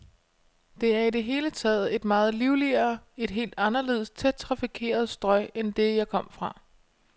Det er i det hele taget et meget livligere, et helt anderledes tæt trafikeret strøg end det, jeg kom fra.